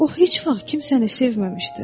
O heç vaxt kimsəni sevməmişdir.